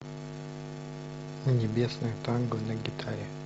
небесное танго на гитаре